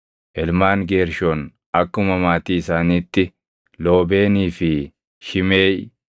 Ilmaan Geershoon akkuma maatii isaaniitti: Loobeenii fi Shimeʼii.